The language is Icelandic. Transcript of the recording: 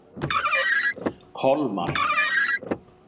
Kolmar